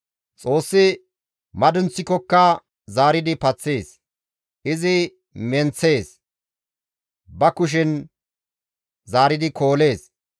Xoossi madunththikokka zaaridi paththees; izi menththees; ba kushen zaaridi koolees.